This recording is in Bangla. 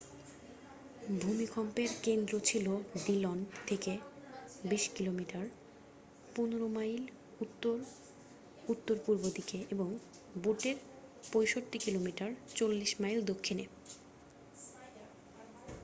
ভূমিকম্পের কেন্দ্র ছিল ডিলন থেকে ২০ কিমি ১৫মাইল উত্তর-উত্তর পূর্ব দিকে এবং বুটের ৬৫ কিমি ৪০মাইল দক্ষিণে।